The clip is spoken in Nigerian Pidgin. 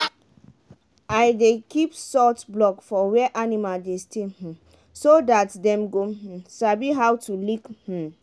i dey keep salt block for where animal dey stay um so dat dem go um sabi how to lick. um